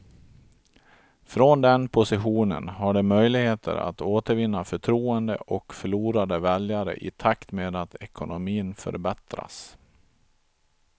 Från den positionen har de möjligheter att återvinna förtroende och förlorade väljare i takt med att ekonomin förbättras.